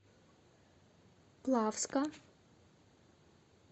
плавска